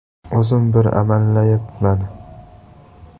O‘zim bir amallayapman”.